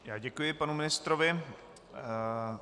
Já děkuji panu ministrovi.